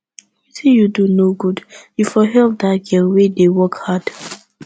wetin you dey do no good you for help dat girl wey dey work hard